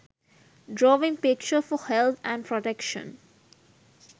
drawing picture for health and protection